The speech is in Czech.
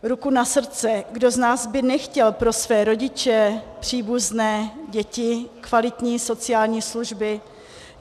Ruku na srdce, kdo z nás by nechtěl pro své rodiče, příbuzné, děti, kvalitní sociální služby.